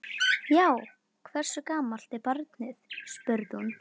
Já, hversu gamalt er barnið? spurði hún.